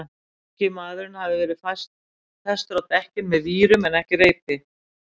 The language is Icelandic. Ungi maðurinn hafði verið festur á dekkin með vírum en ekki reipi.